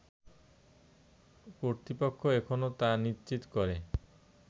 কর্তৃপক্ষ এখনও তা নিশ্চিত করে